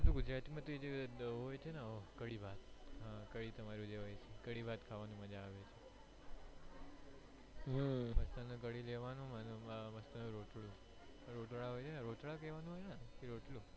ગુજરાતી માં જે હોય છે ને કઢી ભાત કઢી ભાત ખાવાની મજ્જા આવે હમ્મ કઢી લેવાનું અને મસ્ત રોતડા રોતડા કેવાય ને કે રોટલા